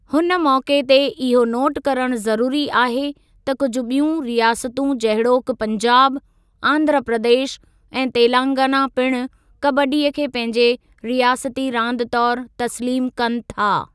हुन मौके ते इहो नोट करणु ज़रूरी आहे त कुझु ॿियूं रियासतूं जहिड़ोकि पंजाब, आंधरा प्रदेश ऐं तेलंगाना पिणु कबड्डी खे पंहिंजे रियासती रांदि तौरु तस्लीमु कनि था।